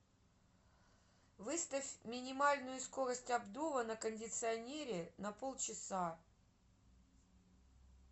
выставь минимальную скорость обдува на кондиционере на полчаса